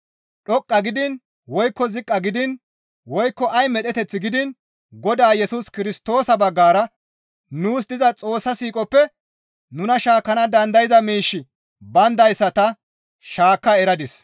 dhoqqa gidiin woykko ziqqa gidiin, woykko ay medheteth gidiin Godaa Yesus Kirstoosa baggara nuus diza Xoossa siiqoppe nuna shaakkana dandayza miishshi bayndayssa ta shaakka eradis.